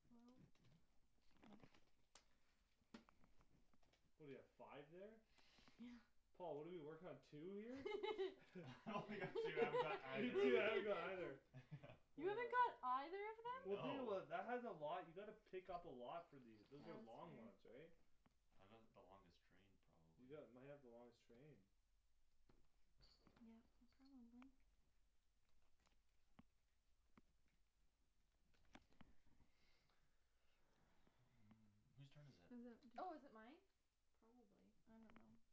Well What do you have five there? Yeah. Paul, what do you work on two here? I only got two. I haven't got You either of too I that. don't know either Yeah. You haven't got either of them? Well, think No. about it, that has a lot. You gotta pick up a lot for these. Those Yeah, are that's long very ones, right? I got the longest train You probably. got might have the longest train. Yeah, you probably Who's turn is it? Is it? Oh, is it mine? Probably.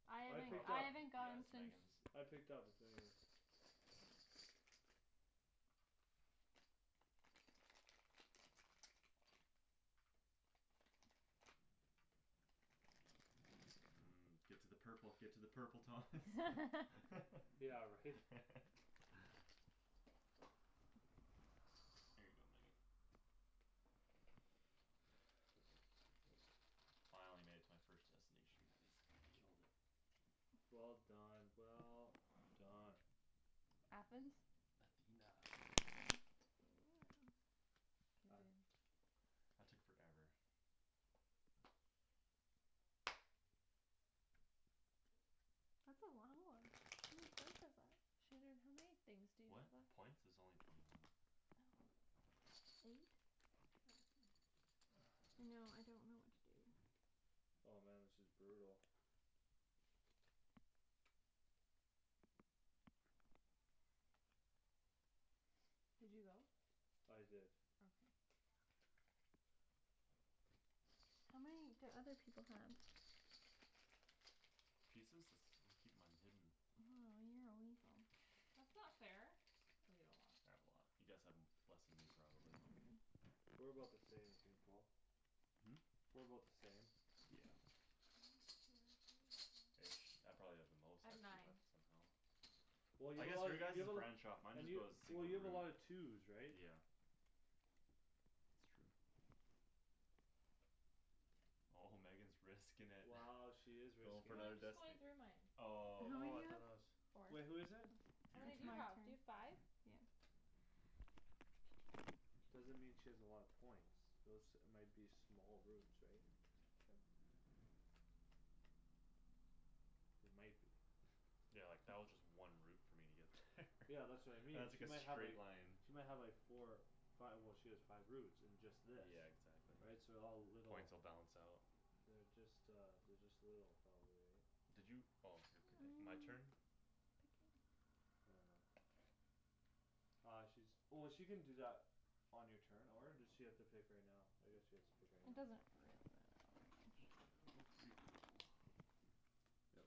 I don't know. I I haven't picked Probably. I up. haven't Yeah, gone it's since. Megan's. I picked up but then again Mm. Get to the purple, get to the purple, Thomas. Yeah, right? Here you go, Megan. Finally made it to my first destination guys. Killed it. Well done, well done. Athens. Athena. K I babe. That took forever. That's a long one. How many points is that? Shandryn, how many things to you What? have up? A points? Is only twenty one. Oh, eight? Oh, okay. I know, I don't know what to do. Oh, man, this is brutal. Did you go? I did. Okay. How many do other people have? Pieces? It's I keep mine hidden. Oh, you're a weasel. That's not fair, oh, you have a lot. I have a lot. You guys have less then me probably. Okay. We're about the same, I think, Paul. Hmm? We're about the same. Yeah. Ish I probably have the most I've actually nine. left somehow. Well, you I guess have your guy's you have a lot branch off. Mine and just you goes Well, single you have a route. lot of twos right? Yeah. It's true. Oh, Megan's risking it. Wow, she is Goin' risking for No, it. another I'm just going destin- through mine. How Oh, okay. many Oh, you I thought that was have? Four. Wait, who Oh, is it? How Your many do it's turn. my you have? Do you have turn. five? Yeah. Doesn't mean she has a lot of points. Those might be small routes right? True. They might be Yeah, like that was just one route for me to get there Yeah, that's what I And mean, that's she like might a have like straight line. She might have like four five, well, she has five routes and just this Yeah, exactly. Right, so all little Points will balance out. They're just, uh They're just little probably, right? Did you? Oh, you're picking. I'm My picking. turn? I don't know. Uh, she's Oh, she can do that On your turn or does she have to pick right now? I guess she has to pick right now. It doesn't really matter all that I'll much. go three purple. Yep.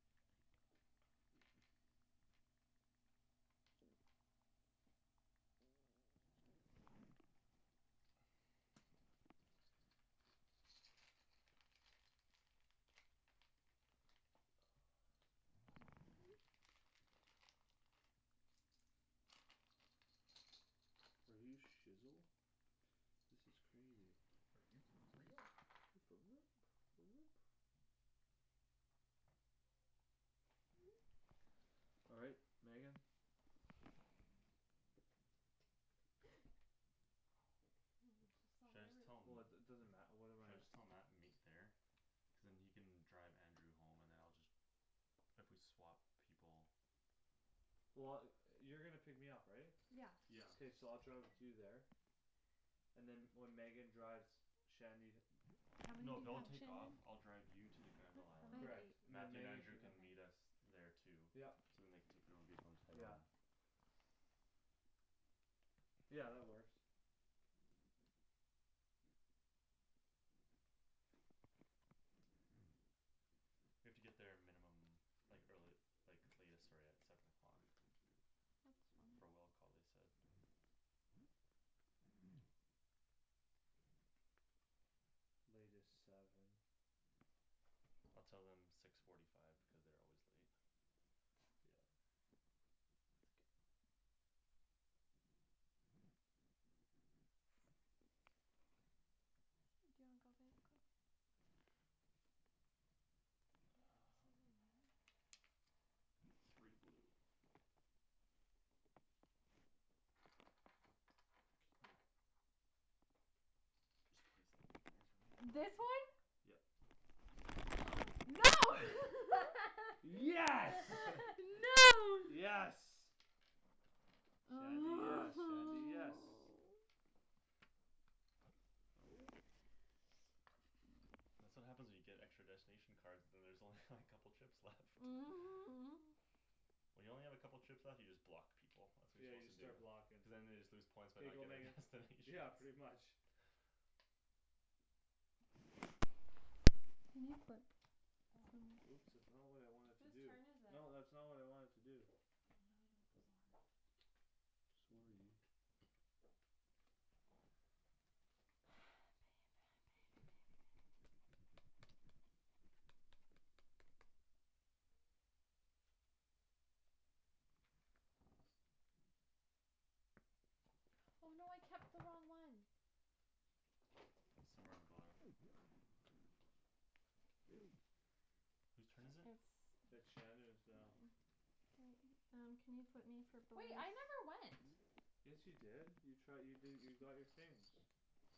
Oh, my god. Are you shizzel? This is crazy. Are you for real? Are you for All right, Megan. Should I just tell 'em? Woah, it it doesn't matter. What am Should I I? just tell Mat to meet there? Cuz then he can drive Andrew home and then I'll just If we swap people. Well, yo- you're gonna pick me up, right? Yeah. Yeah. K, so I'll drive with you there and then when Megan drives Shandy How many No, do you they'll have take off. Shandryn? I'll drive you to the Granville How island. I many? have Correct. eight. Then Mathew and Megan Andrew can come. can meet us Okay. there too. Yup. So then they can take their own vehicle and just head home. Yeah. Yeah, that works. We have to get there a minimum Like early like latest sorry at Seven o'clock. That's For fine. will call, they said. Latest seven. I'll tell them six forty five because they're always late. Yeah. That's a good one. Do you wanna go babe quick? Um. Three blue. Can you Just place them right there for me This one? Yep. No. Yes. No. Yes. Shandy, yes, Shandy, yes. Oh. That's what happens when you get extra destination cards. Then there's only like couple trips left. When you only have a couple trips left you just block people. That's what Yeah, you're you just suppose to do. start blockin'. Cuz then they just lose points by Here you not go, getting Megan. destinations. Yeah, pretty much. Can you flip Oh. some? Oops, that's not what I wanted to Whose do. turn is it? No, that's not what I wanted to do. Oh, now I know what those are Sorry. Somewhere on the bottom? Whose turn is it? It's It's Shandryn's now. Mine. K, um, can you put me for Wait, I never went. Yes, you did you try you did you got your things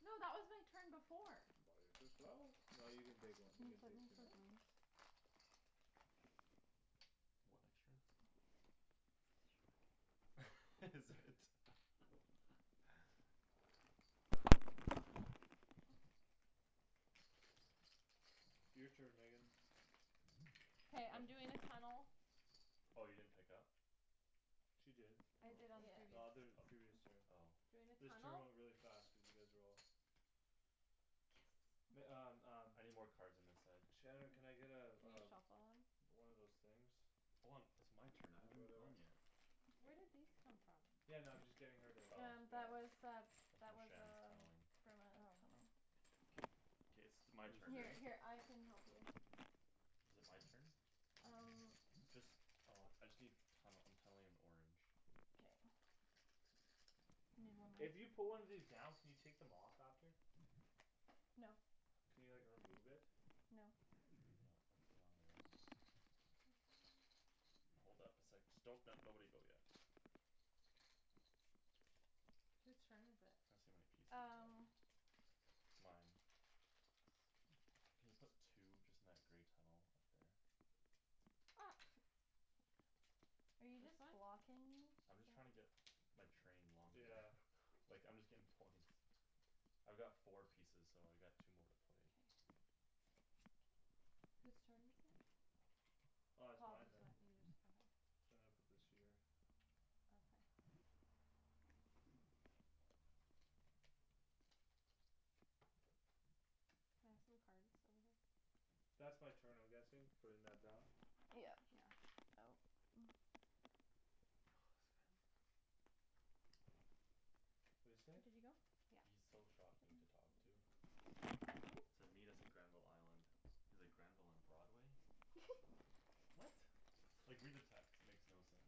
No, that was my turn before. Buy it yourself. No, you can take Can you one, flip you can me take two for now. blues? One extra? Is it? Your turn, Megan. K, I'm doing a tunnel. Oh, you didn't pick up? She did. I did on the The previous other previous turn. O- oh Doing a This turn tunnel went really fast cuz you guys were all Yes. Meg- um um I need more cards on this side. Shandryn, can I get uh Can you uh shuffle them? One of those things Hold on. It's my turn. I haven't even gone Whatever. yet. Where did these come from? Yeah, no, I'm just getting her to Oh. get one That's from Shand's tunneling. Oh. K, k, it's my turn, right? Is it my turn? Just uh I just need tunnel. I'm tunneling in orange. K. If you put one of these down can you take them off after? No. Can you like remove it? No. No, once they're on they're on. Hold up a sec. Just don't nobody go yet. Whose turn is it? Tryin' to see how many pieces I have Um. left. Mine. Can you put two just in that grey tunnel up there? Ops. Are you just This one? blocking me? I'm just trying to get my train longer Yeah. like I'm just getting points. I've got four pieces, so I got two more to play. K. Whose turn is it? Uh, it's Paul mine just then. went, you just, okay Sorry, I put this here. Okay. Can I have some cards over here? That's my turn I'm guessing. Putting that down? Yeah. Yeah Oh What'd you say? He's Yeah. so shocking to talk to. Said meet us at Granville island. He's like, "Granville and Broadway?" What? Like read the text. It makes no sense.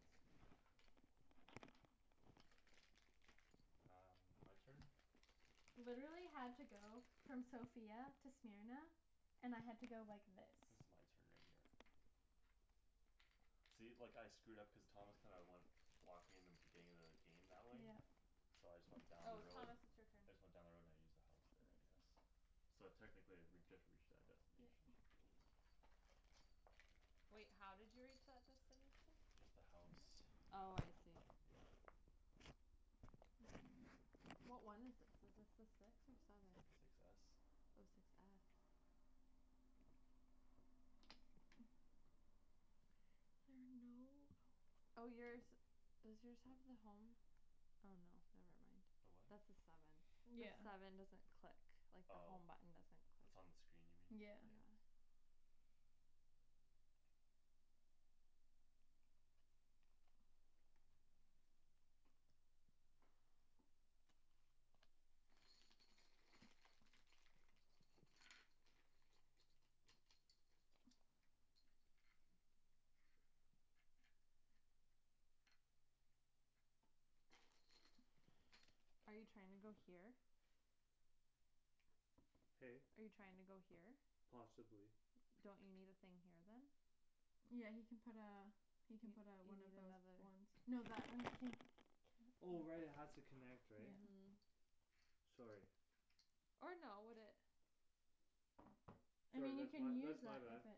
Um, my turn? Literally had to go from Sofia to Smyrna, and I had to go like this. This is my turn right here. See, like I screwed up cuz Thomas kinda went Blocked me in the beginning of the game that way. Yeah. So I just went down the Oh, road. Thomas it's your turn. I just went down the road and I used the house there I guess. So technically I re- I just reached that Yeah. destination. Wait, how did you reach that destination? Just the house. Oh, I see. Yeah. What one is this? Is this the six or seven? Six s. Oh, six s There are no ho- Oh, yours, does yours have the home? Oh, no, never The mind. what? That's the seven. The Yeah. seven doesn't click like the Oh, home button, doesn't click, it's on the screen you mean? yeah. Yeah. Yeah. Are you trying to go here? Hey? Are you trying to go here? Possibly. Don't you need a thing here then? Yeah, he can put uh You He can put a one of you need another those Oh, right, it has to connect, right? Mhm. Yeah. Sorry. Or no would it I Sorry, mean you that's my can use that's my that bad. if it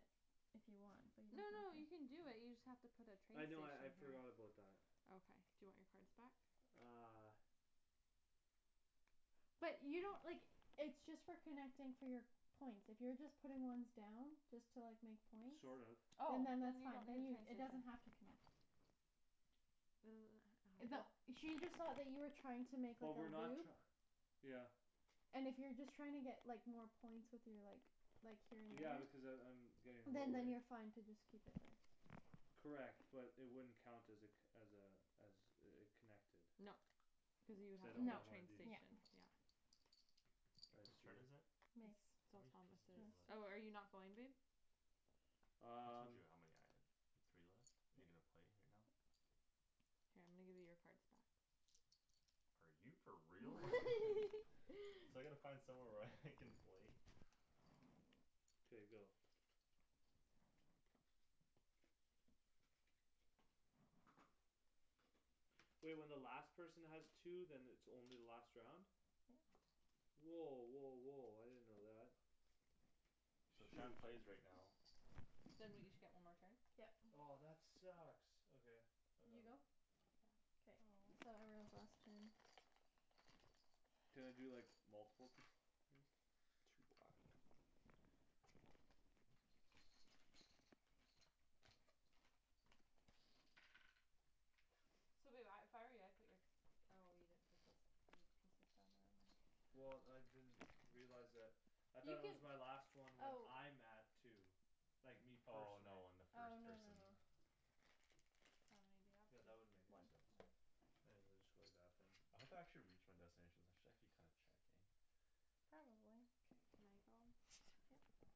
If you want but you No, don't no, have you to can do it, you just have to put a train I know I I'd station here forgot about that. Okay, do you want your cards back? Uh. But you don't, like, it's just for connecting for your points. If you're just putting ones down, just to like make points. Sort of. Oh, And then then that's you fine. don't need a train It does station not have to connect. That she just saw that you were trying to make But up a we're not loop. tr- Yeah. And if you're just trying to get like more points with your like Like here Yeah in because a I'm I'm route. Getting Then low, right? then you're fine to just keep it there. Correct but it wouldn't count as a co- as a As a a connected No, cuz you would Cuz I have to don't put No. a have one of train these. Yeah. station yeah Whose turn is it? It's How still many Thomas' pieces do you have left? Oh, are you not going babe? I told Um. you how many I have. You have three left? Are you gonna play right now? Here I'm gonna give you your cards back Are you for real? So I gotta find somewhere where I can play K, go. Wait, when the last person has two then it's only the last round? Yeah. Woah, woah, woah, I didn't know that. So Shoot. Shand plays right now. Then we each get one more turn? Yep. Oh, that sucks, okay. I got You go? one. Yeah. Aw. Can I do like multiple th- things? Two black. So babe I if I were you I'd put your Oh, you didn't put those pil- pieces down there, never mind Well, I didn't realize that. I thought it was my You last one when can, I'm at two. oh Like me Oh, Oh, no, no, personally. no, when the first person no. How many do you have? Yeah, Two? that wouldn't make One. any sense. One. I'll just go like that then. I hope I actually reach my destinations. I should actually kinda check eh? Probably. Okay, can I go? Yeah.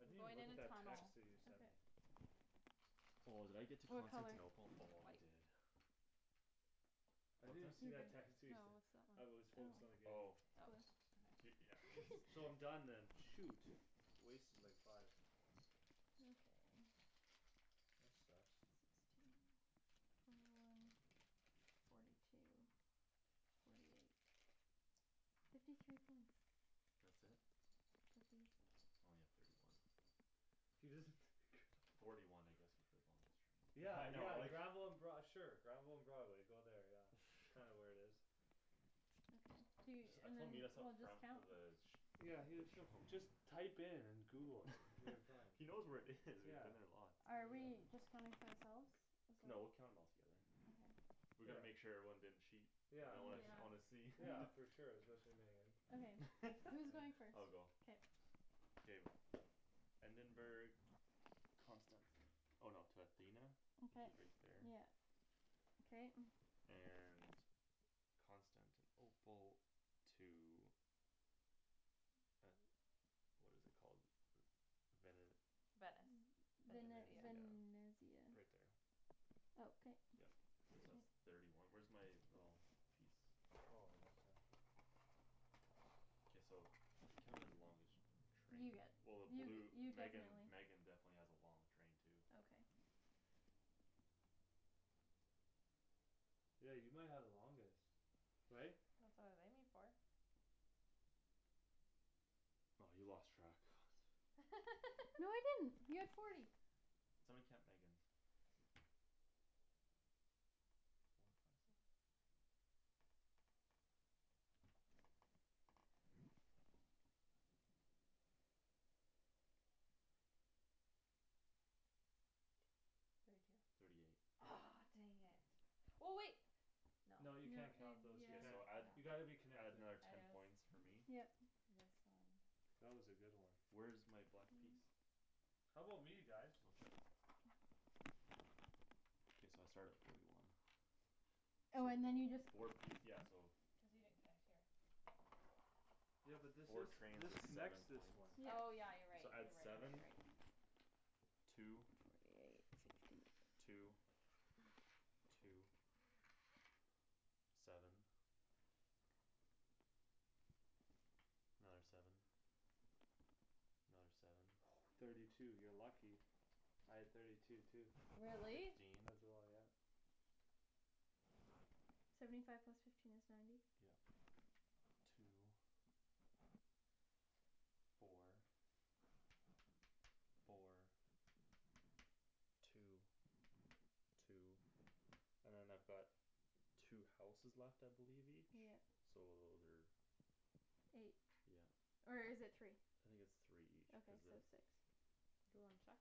I I'm didn't even going look in at a that text tunnel that you sent me. Okay. Oh, did I get to What color? Constantinople? Oh, I White. did. I What's didn't that? even see that text you No, sent. what's that one? I was focused on the game. Oh. Okay. He, yeah, he's So I'm done then. shoot. Wasted like five. Okay. That sucks. Sixteen, twenty one, forty two Forty eight Fifty three points That's it? I think so. Only have thirty one Forty one I guess with the longest train. Yeah, Yeah, I know yeah, like Granville and Broad- sure Granville and Broadway, go there, yeah. Kinda where it is. I jus- I told meet us up front the village Yeah, he That show shuf- just Type in and google it Until you find He knows where it is. We've Yeah. been there lots. Are we just counting for ourselves? No, we'll count 'em all together Okay. We Yeah. gotta make sure everyone didn't cheat. Y'know Yeah, I wanna like I Yeah. wanna see Yeah, for sure, especially Megan. I'll go. K. Endenburg Constanti- oh no to Athena Which Okay is right there. yeah okay And Constantinople To a What is it called? Vene- Venice Vene- Venezia Venezia, Venesia right there Okay. Yup. So that's thirty one. Where's my little piece? Oh, I didn't see that. K, we should count it as the longest You Train get well the you blue you Megan definitely Megan definitely has a long train too Okay. Yeah, you might have the longest right? That's what I was aiming for. By you lost track No, I didn't. You have forty. Somebody count Megan's One, Four, two, three five, six Four, five, six, seven, eight, nine, ten, eleven, twelve, thirteen, fourteen, fifteen, sixteen, seventeen, eighteen, nineteen, twenty Twenty one, twenty two Thirty two Thirty eight Aw, dang it Well, wait No. No, No, you in yeah, can't count those, you K, can't. so add You Yeah. gotta be yeah add connected. another ten points for me. Yep. This one. That was a good one. Where's my black piece? How 'bout me guys? Blue chip. K, so I start at forty one. Oh, So, and then you just four piec- yeah so Cuz you didn't connect here Yeah. but this Four is trains this is connects seven this points one. Oh, Yeah. yeah, you're right, So you're add right, you're right, you're seven right. Two Forty eight, fifty Two Two Seven Another seven Another seven Thirty two. You're lucky. Three, I had thirty four, five two too. Really? Really? Fifteen As well, yeah. Seventy five plus fifteen is ninety Yeah. Two Four Four Two, two And then I've got Two houses left I believe each, Yeah. so those are Eight, Yeah. or is it three? I think it's three each Okay, cuz the so six Do you wanna check?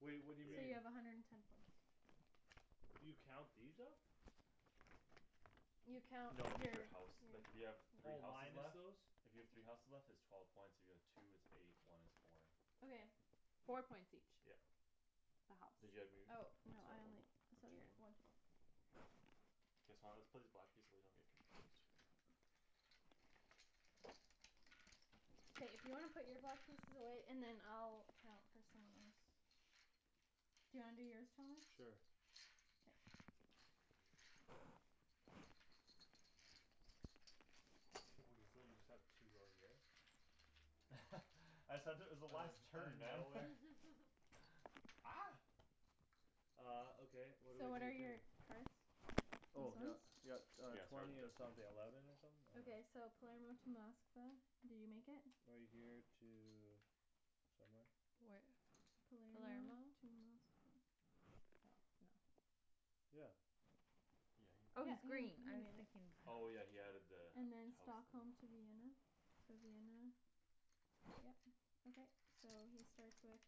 Wait, what So do you mean? you Yeah. have a hundred and ten points. Okay. You count these up? You count No, you're, just the house. Like if you have yeah three Oh houses minus left those? If you have three houses left it's twelve points, if you have like two it's eight, one is four. Okay. Four Four points points each each. Yep. The house. So one more? Or two more? Okay K, so I'm gonna have to put these black piece away so you don't get confused right here. K. If you wanna put your block pieces away, and then I'll count for someone else. Do you wanna do yours, Thomas? Sure. Yeah. Weasel, you just have two out here? I said it was the Out last outta turn, man. nowhere Ah. Uh, okay, what what are So we what are gonna do? your cards? These Oh, yup. ones? Yup, uh, Yeah, start with twenty and something destinations. eleven or something? I don't Okay, so know. Palermo to Moskva, did you make it? Right here to Somewhere Where? Palermo Palermo? to Moskva Oh, no. Yeah. Yeah, he Oh, Oh, made he's he's it. green green. I I was mean. thinking blu- Oh, yeah, he had added the And then house there. Stockholm to Vienna, so Vienna Yeah. Okay. So he starts with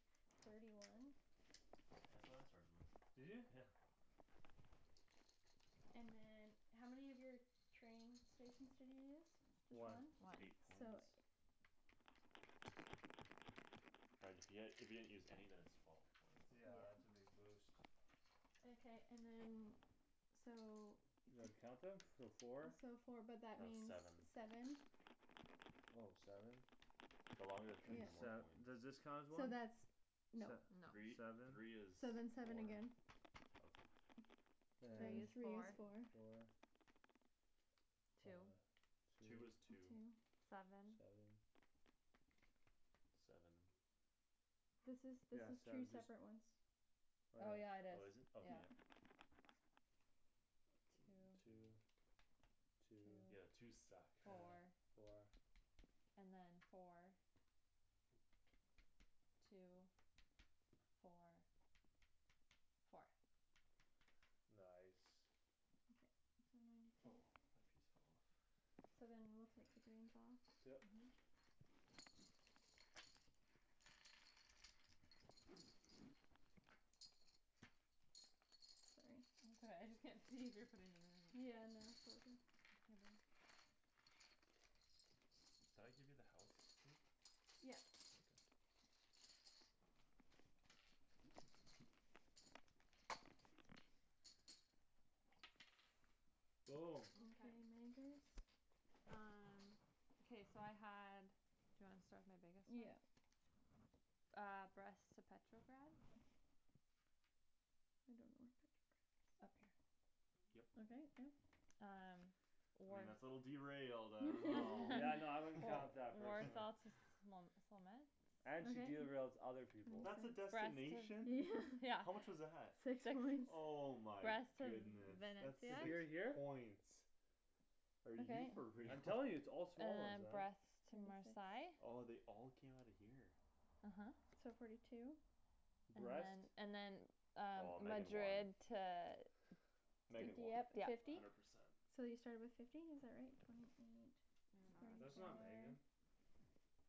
thirty one Yeah, that's what I started with, Did you? yeah And then How many of your train stations did you use? One. Just One. eight So. points. Right if you had if you hadn't used any then it's twelve points Yeah, that's a big boost. Okay, and then so You know how to count them? So four? So four but that That's means seven seven Oh, seven? The longer the train Then the Yeah. more sev- points. does this count as So one? that's No. Se- No. Three, seven three is So then seven four again Okay. And Three is is four four. Four Two Uh, Two two. is two Two Seven Seven Seven This is, this Yeah, is seven two just separate ones. Oh, Oh, yeah yeah, it is, Oh, is it? Okay, yeah yeah. Two Two Two Two Two Yeah, twos suck Four, Four four. And then four Two, four Four Nice. Okay, so ninety two. Oh, my piece fell off. So then we'll take the green Yeah. Mhm. Sorry. It's all right. I just can't see if you're putting them in or not. Yeah, no Did I give you the house too? Yeah. Okay. Okay, Okay. Memphis. Um. Okay, so I had Do you want to start with my biggest Yeah. one? Ah, Brest to Petrograd I don't know where Petrograd is. Up here. Okay, Yup. yep. Um. I mean War- that's a little derailed. I don't know Yeah, no I wouldn't War- count that personally. Warsaw to And she Okay. derails other people. That's a Twenty six destination? Yeah. Yeah How much was that? Six Six Oh my Brest to V- goodness. Venice, That's To yeah. six here here? points. Are you Okay. for real? I'm telling you, it's all And small ones then then. Brest to Twenty six Marsail Oh, they all came outta here? uh-huh. So forty two. And then Brest. and then Um, Oh, Megan won. Madrid to Di- Megan won Dieppe Yeah. fifty hundred percent. So you started with fifty is that right? Twenty, twenty eight That's not Megan.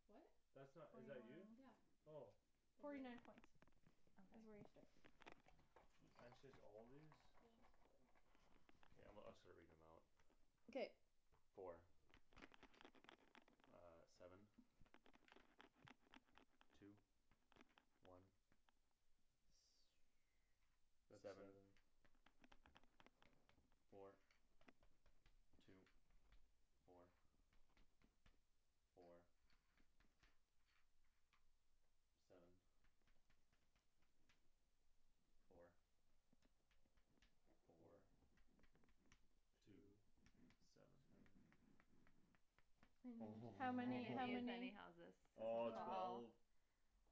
What? That's not? Twenty Is one that you? Yeah. Oh. Forty night points T- is where okay you started Blue blue And she's chips all these? Okay, I'm gonna I'll start reading them out Okay. Four. Ah, seven, two, one That's Seven, seven. four, two, four, four Seven, four, Four four, two, Two seven Seven How I many? How didn't use many? any houses Oh, so twelve twelve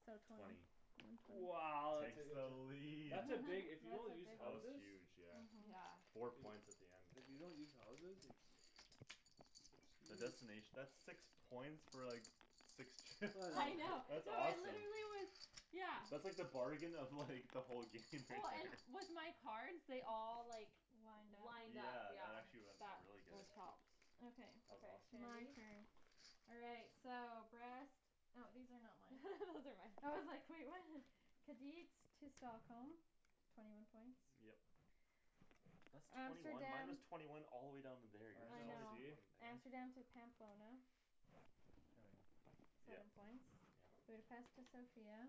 So twenty Twenty One twenty Wow. Takes the lead. That's a big if you don't use That was houses huge, yeah. uh-huh. Yeah. Four points at the end If you don't use houses it's The It's huge. destination that's six points for like Six trip. Yeah, I know, That's no, awesome. literally it was, yeah That's like the bargain of like the whole game Oh, and with my cards they all like Lined up Lined up, Yeah, that yeah actually wen- That really good what helps Okay, That was Okay, awesome. my Shandy. turn. All right, so Brest Oh, these are not mine Those are mine. I was like, "Wait, what?" Kadeets to Stockholm Twenty one points Yep. That's twenty one Amsterdam Minus twenty one all the way down in there I I know, know. see? Amsterdam to Pamplona Here we are. Seven Yep, points yeah. Budapest to Sofia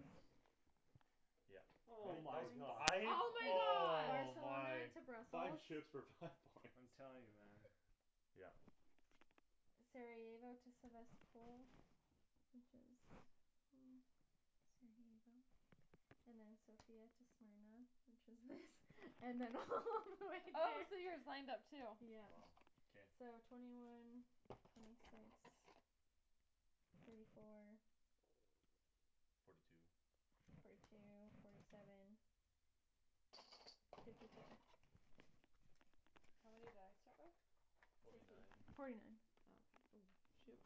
Yeah Hol- Oh that my was points god. five, Oh my god. oh Barcelona my Five to shooks Brussels for five points I'm telling you, man. Yeah. Sarajevo to Sevastpol Which is hmm Sarajevo And then Sofia to Smyrna Which is this And then all the way Oh, so here yours lined up too? Wow, Yeah. k. So twenty one Twenty six Thirty four Forty two Forty two, forty seven Fifty four How many did I start with? Forty nine Forty nine Okay. Oh, shoot.